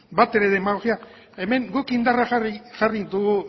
batere demagogia hemen guk indarra jarri dugu